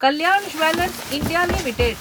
Kalyan jewellers India limited